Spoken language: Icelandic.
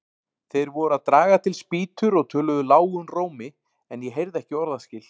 Þeir voru að draga til spýtur og töluðu lágum rómi, en ég heyrði ekki orðaskil.